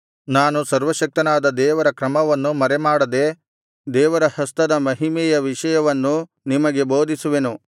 ನಾನು ಸರ್ವಶಕ್ತನಾದ ದೇವರ ಕ್ರಮವನ್ನು ಮರೆಮಾಡದೆ ದೇವರ ಹಸ್ತದ ಮಹಿಮೆಯ ವಿಷಯವನ್ನು ನಿಮಗೆ ಬೋಧಿಸುವೆನು